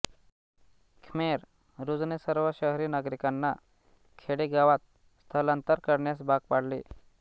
Khmer रूजने सर्व शहरी नागरिकांना खेडेगावांत स्थलांतर करण्यास भाग पाडले